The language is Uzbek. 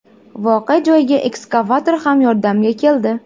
Voqea joyiga ekskavator ham yordamga keldi.